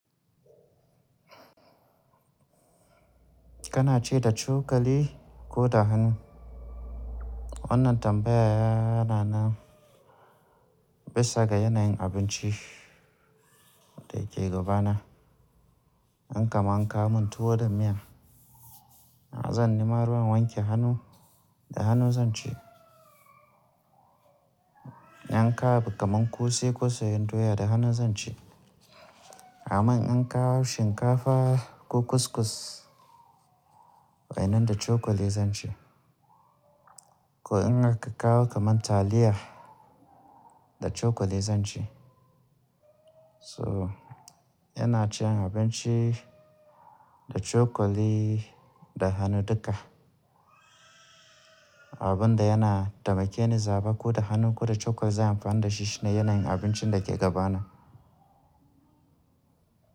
Kana ci da cokali ko da hannu? Wannan tambaya yana nan bisa ga yanayin abinci da yake gaba na. In kaman an kawo mun tuwo da miya, zan nima ruwa wanke hannu, da hannu zan ci. In an kawo kaman kuse, ko soyyen doya, da hannu zan ci. Aman in an kawo shinkafa ko kuskus, wa'innan da cokali zan ci. Ko in aka kawo kaman taliya, da cokali zan ci. So yana cin abinci da cokali da hannu duka. Abun da yana taimake ni zaba ko da hannu ko da cokali zan amfani da shi shine yanayin abincin daya ke gaba na.